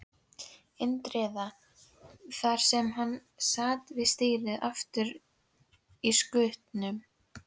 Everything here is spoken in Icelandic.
Indriða, þar sem hann sat við stýrið aftur í skutnum.